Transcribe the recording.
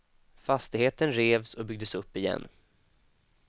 Fastigheten revs och byggdes upp igen.